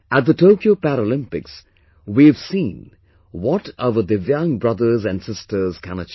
At the Tokyo Paralympics we have seen what our Divyang brothers and sisters can achieve